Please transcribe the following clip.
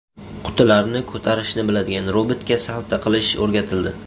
Qutilarni ko‘tarishni biladigan robotga salto qilish o‘rgatildi.